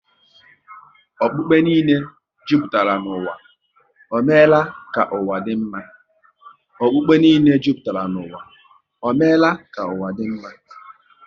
Okpukpe niile jupụtara n'ụwa, ọ meela ka ụwa dị mma?